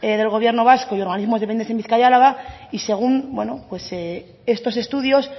del gobierno vasco y organismos dependientes en bizkaia álava y según bueno estos estudios